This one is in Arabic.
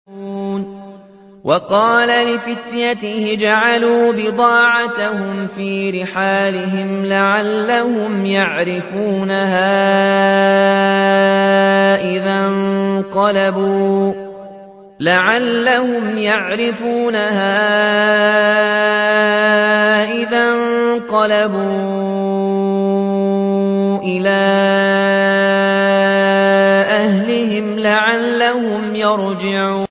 وَقَالَ لِفِتْيَانِهِ اجْعَلُوا بِضَاعَتَهُمْ فِي رِحَالِهِمْ لَعَلَّهُمْ يَعْرِفُونَهَا إِذَا انقَلَبُوا إِلَىٰ أَهْلِهِمْ لَعَلَّهُمْ يَرْجِعُونَ